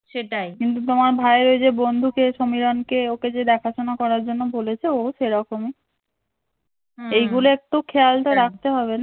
কিন্তু তোমার ভাই ঐযে বন্ধুকে সমীরণ কে ওকে যে দেখাশুনা করার জন্য বলেছে ও সেরকমই এইগুলো একটু খেয়াল তো রাখতে হবে